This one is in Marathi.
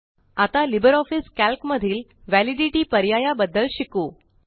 आता लिबर ऑफीस कॅल्क मधिल व्हॅलिडिटी पर्याया बद्दल शीकू